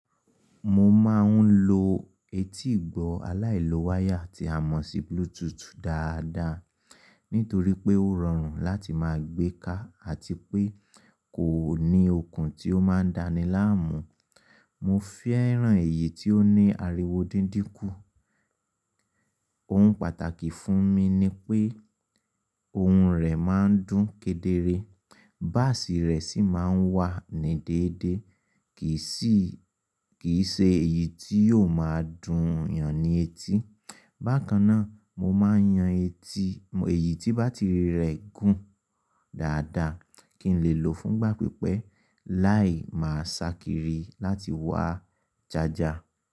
Mo máa ń lo etí ìgbọ́ aláìló wáyà tí a mọ̀ sí Bluetooth dáadáa, nítorí pé ó rọrùn láti máa gbé ká àti pé kò ní okùn tí ó máa dáni láàmú. Mo fẹ́ràn èyí tí ó ní ariwo dídínkù. Ohun pàtàkì fún mi ni pé ohun rẹ̀ máa ń dún kedere, báàsì rẹ̀ sì máa ń wà ní déédéé, kì í ṣe èyí tí yóò máa dùn ènìyàn ní etí. Bákan náà, mo máa yan èyí tí bátìrì rẹ̀ gùn dáadáa kí n lè lò fún ìgbà pípẹ́ láì máa ṣakiri láti wá jàjà.